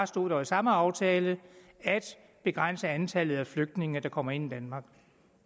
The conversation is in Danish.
stod der i samme aftale at begrænse antallet af flygtninge der kommer ind i danmark